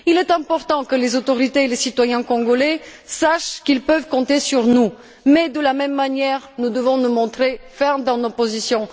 Il est important que les autorités et les citoyens congolais sachent qu'ils peuvent compter sur nous mais, de la même manière, nous devons nous montrer fermes dans nos positions.